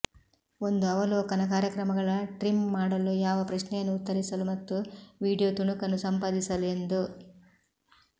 ಒಂದು ಅವಲೋಕನ ಕಾರ್ಯಕ್ರಮಗಳ ಟ್ರಿಮ್ ಮಾಡಲು ಯಾವ ಪ್ರಶ್ನೆಯನ್ನು ಉತ್ತರಿಸಲು ಮತ್ತು ವೀಡಿಯೊ ತುಣುಕನ್ನು ಸಂಪಾದಿಸಲು ಎಂದು